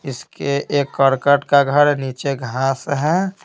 इसके एक करकट का घर है नीचे घास है।